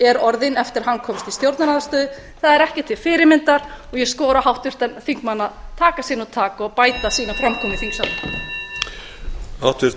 er orðinn eftir að hann komst í stjórnarandstöðu það er ekki til fyrirmyndar og ég skora á háttvirtan þingmann að taka sér nú tak og bæta framkomu sína í þingsalnum